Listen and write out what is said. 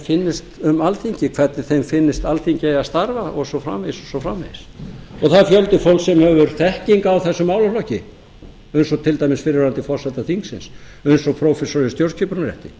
finnist um alþingi hvernig þeim finnist alþingi eiga að starfa og svo framvegis það er fjöldi fólks sem hefur þekkingu á þessum málaflokki eins og til dæmis fyrrverandi forseti þingsins eins og prófessor í stjórnskipunarrétti